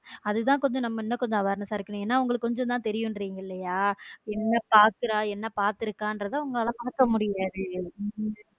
அதுதான் கொஞ்சம் இன்னும் கொஞ்சம் நம்ம awareness ஆ இருக்கனும் உங்களுக்கு கொஞ்சம் தான் தெரியும் என்ன பாக்குற என்ன பார்த்து இருக்காங்கறது உங்களால பார்க்க முடியாது.